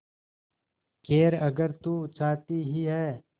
खैर अगर तू चाहती ही है